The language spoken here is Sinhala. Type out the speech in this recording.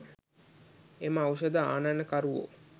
එම ඖෂධ ආනයනකරුවෝ